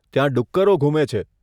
ત્યાં ડુક્કરો ઘૂમે છે.